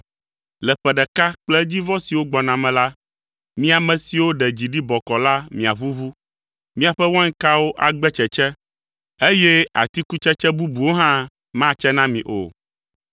Le ƒe ɖeka kple edzivɔ siwo gbɔna me la, mi ame siwo ɖe dzi ɖi bɔkɔɔ la miaʋuʋu. Miaƒe wainkawo agbe tsetse, eye atikutsetse bubuwo hã matse na mi o.